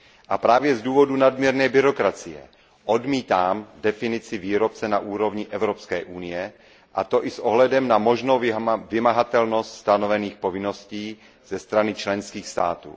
A právě z důvodu nadměrné byrokracie odmítám definici výrobce na úrovni Evropské unie, a to i s ohledem na možnou vymahatelnost stanovených povinností ze strany členských států.